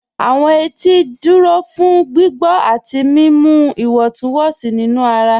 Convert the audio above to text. Awọn ètì jẹ́ ìdúró fún gbígbọ̀ àti mímú ìwọ̀ntúnwọ̀nsí nínu ara.